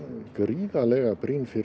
gríðarlega brýn fyrir